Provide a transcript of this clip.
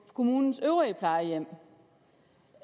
kommunens øvrige plejehjem